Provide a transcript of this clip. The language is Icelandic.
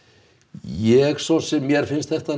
ég svo sem mér finnst þetta